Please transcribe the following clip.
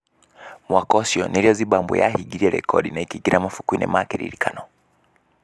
Mwaka ?cio n?r?o Zimbabwe yahing? rire rekondi na ?k?ing?ra mabuku-in? ma kiririkano.